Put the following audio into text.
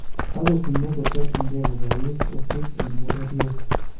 Takotinye kotokyinkee� kobois osiik en bororiet